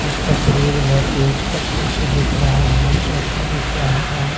इस तस्वीर में तीन-चार कुर्सी दिख रहे है सोफा दिख रहा है।